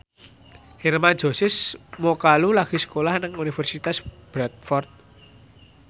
Hermann Josis Mokalu lagi sekolah nang Universitas Bradford